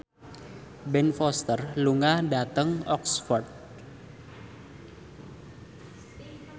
Ben Foster lunga dhateng Oxford